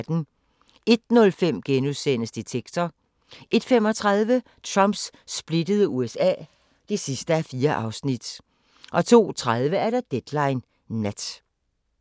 01:05: Detektor * 01:35: Trumps splittede USA (4:4) 02:30: Deadline Nat